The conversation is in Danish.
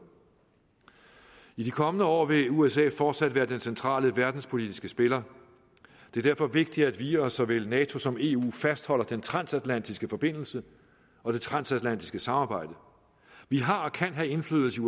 i de kommende år vil usa fortsat være den centrale verdenspolitiske spiller det er derfor vigtigt at vi og såvel nato som eu fastholder den transatlantiske forbindelse og det transatlantiske samarbejde vi har og kan have indflydelse